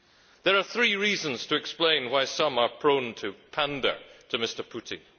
There are three reasons to explain why some are prone to pander to Mr Putin.